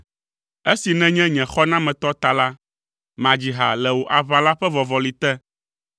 Esi nènye nye xɔnametɔ ta la, madzi ha le wò aʋala ƒe vɔvɔli te.